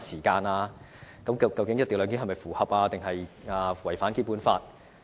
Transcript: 究竟"一地兩檢"是符合，還是違反《基本法》？